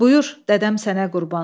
Buyur, dədəm sənə qurban.